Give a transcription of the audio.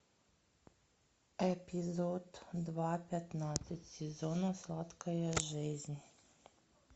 эпизод два пятнадцать сезона сладкая жизнь